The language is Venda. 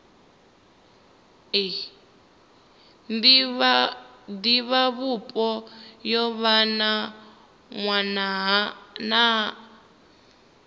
divhavhupo yo vha na nwaha